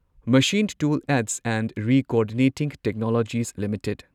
ꯃꯁꯤꯟ tool aids and recoordinating technologies limited